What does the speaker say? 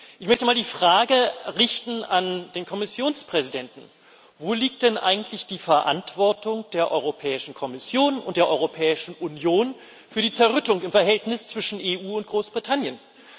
Ich möchte mal die Frage an den Kommissionspräsidenten richten Wo liegt denn eigentlich die Verantwortung der Europäischen Kommission und der Europäischen Union für die Zerrüttung im Verhältnis zwischen der EU und Großbritannien?